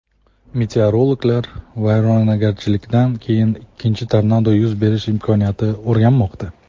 Meteorologlar vayronagarchilikdan keyin ikkinchi tornado yuz berish imkoniyatini o‘rganmoqda.